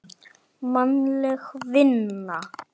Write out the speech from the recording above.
Mannleg vinna